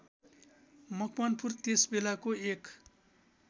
मकवानपुर त्यसबेलाको एक